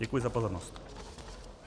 Děkuji za pozornost.